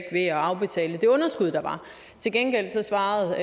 at afbetale det underskud der var til gengæld svarede